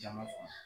Jama fa